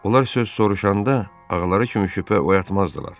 Onlar söz soruşanda ağaları kimi şübhə oyatmazdılar.